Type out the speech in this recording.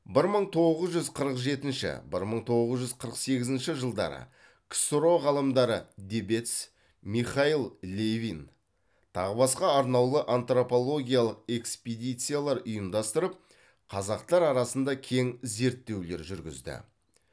бір мың тоғыз жүз қырық жетінші бір мың тоғыз жүз қырық сегізінші жылдары ксро ғалымдары дебец михаил левин тағы басқа арнаулы антропологиялық экспедициялар ұйымдастырып қазақтар арасында кең зерттеулер жүргізді